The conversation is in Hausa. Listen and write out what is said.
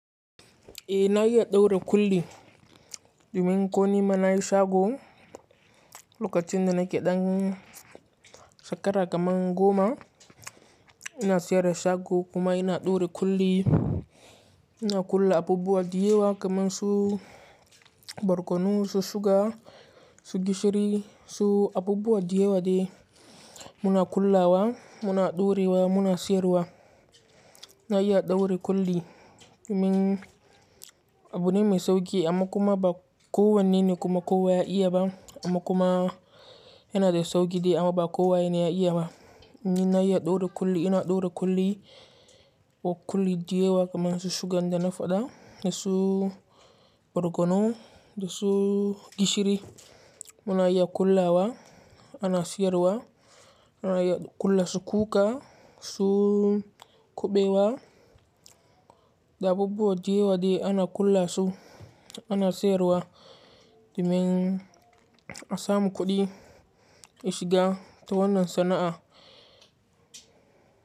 Eh na iya ɗaure kulli, domin ko nima na yi shago lokacin da nake ɗan shekara kaman goma. Ina siyar da shago kuma ina ɗaura kulli. Ina kula abubuwa diyewa kaman su barkonu, su shuga, su gishiri, su abubuwa dayawa dai muna ƙullawa muna ɗaurewa muna siyarwa. Na iya ɗaure kulli domin abu ne mai sauƙi amma kuma ba kowan ne ne kuma kowa ya iya ba amma kuma yana da sauƙi amma ba kowa ne ya iya ba. Ni na iya ɗaura kulli, ina ɗaura kulli wa kulli diyawa kaman su shugan da na faɗa da su barkonu da su gishiri muna iya ƙullawa ana siyarwa. Muna iya ƙulla su kuka su kuɓewa da abubuwa dayawa dai ana ƙulla su ana sayarwa domin a samu kuɗi a shiga ta wannan sana'a.